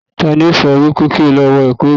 Tani ó sọ wípé kí o lọ wọ ẹ̀kú eégún